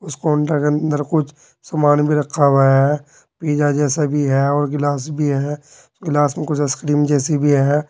उस कोण्टर के अंदर कुछ सामान भी रखा हुआ है पिज्जा जैसा भी है और गिलास भी है ग्लास में कुछ आइसक्रीम जैसी भी है।